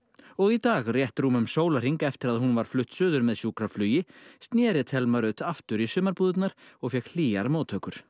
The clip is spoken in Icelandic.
og í dag rétt rúmum sólarhring eftir að hún var flutt suður með sjúkraflugi snéri Telma Rut aftur í sumarbúðirnar og fékk hlýjar móttökur